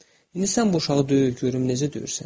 İndi sən bu uşağı döy, görüm necə döyürsən.